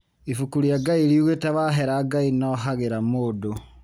Ibuku rĩa Ngai riugĩte wahera Ngai nohagĩra mũndũ.